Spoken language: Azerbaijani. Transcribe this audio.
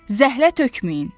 Zəhlə tökməyin!